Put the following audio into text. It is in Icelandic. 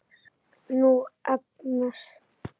Nú, Agnes.